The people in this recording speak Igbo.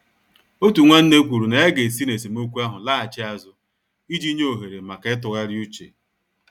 Otu nwanne kwuru na ya ga-esi n' esemokwu ahụ laghachi azụ iji nye ohere maka ịtụgharị uche.